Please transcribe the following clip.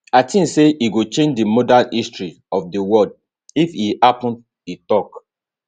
i tink say e go change di modern history of di world if e happun e tok